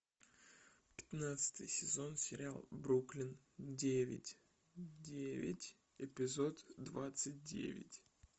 пятнадцатый сезон сериал бруклин девять девять эпизод двадцать девять